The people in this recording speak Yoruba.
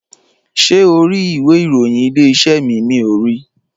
Ṣé o ri ìwé ìròyìn Ilé-iṣẹ́ mi, miò ri?